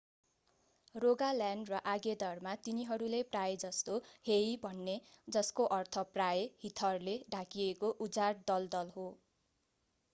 Rogaland र आगदेरमा तिनीहरूले प्रायजसो हेई भन्थे जस्को अर्थ प्राय हिथरले ढाकिएको उजाड दलदल हो